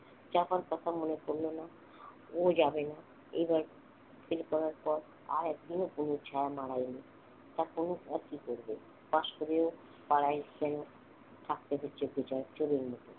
চাপার কথা মনে পড়ল না ও যাবে না এবার fail করার পর আর একদিনও এই ছায়া মাড়ায়নি এখন আর কি করবো pass করেও পাড়ায় থাকতে হচ্ছে চোরের মত